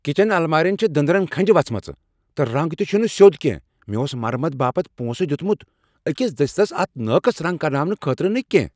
Kitchen المارین چھےٚ دٔندرن کھنٛجہ وژھمژٕ، تہٕ رنٛگ تہ چھنہٕ سیوٚد کینٛہہ۔ مےٚ اوس مرمت باپت پونسہٕ دیتمت، أکس دٔسۍلس اتھِ ناقص رنگ کرناونہٕ خٲطرٕ نہٕ کینہہ۔